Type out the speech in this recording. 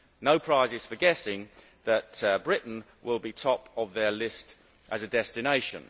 No prizes for guessing that Britain will be top of their list as a destination.